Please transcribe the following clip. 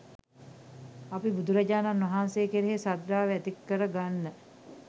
අපි බුදුරජාණන් වහන්සේ කෙරෙහි ශ්‍රද්ධාව ඇති කරගන්න